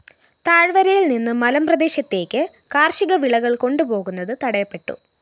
താഴ്‌വരയില്‍ നിന്ന് മലമ്പ്രദേശത്തേക്ക് കാര്‍ഷിക വിളകള്‍ കൊണ്ടുപോകുന്നത് തടയപ്പെട്ടു